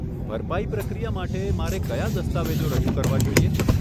ભરપાઈ પ્રક્રિયા માટે, મારે કયા દસ્તાવેજો રજૂ કરવા જોઈએ?